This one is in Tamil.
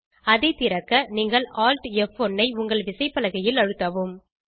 இதை திறக்க நீங்கள் alt ப்1 ஐ உங்கள் விசைப்பலகையில் அழுத்தவும்